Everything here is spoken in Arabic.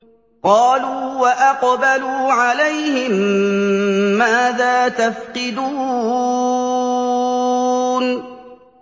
قَالُوا وَأَقْبَلُوا عَلَيْهِم مَّاذَا تَفْقِدُونَ